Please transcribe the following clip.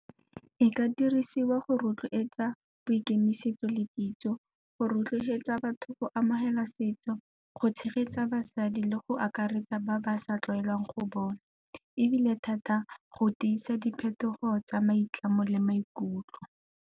E ka dirisiwa go rotloetsa boikemisetso le kitso, go rotloetsa batho go amogela setso. Go tshegetsa basadi le go akaretsa ba ba sa tlwaelang go bona, ebile thata go tiisa diphetogo tsa maitlamo le maikutlo.